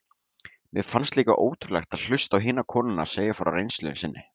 Mér fannst líka ótrúlegt að hlusta á hinar konurnar segja frá reynslu sinni.